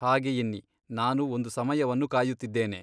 ಹಾಗೆ ಎನ್ನಿ ನಾನು ಒಂದು ಸಮಯವನ್ನು ಕಾಯುತ್ತಿದ್ದೇನೆ.